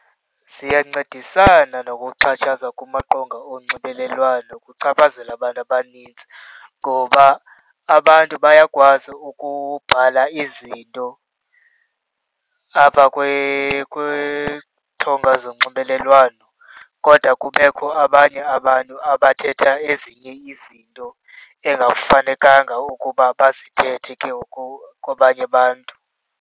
Ziyancedisana nokuxhatshazwa kumaqonga onxibelelwano okuchaphazela abantu abaninzi ngoba abantu bayakwazi ukuqala izinto apha kwizithonga zonxibelelwano kodwa kubekho abanye abantu abathetha ezinye izinto engafanekanga ukuba bazithethe ke ngoku kwabanye abantu.